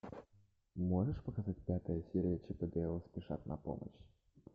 можешь показать пятая серия чип и дейл спешат на помощь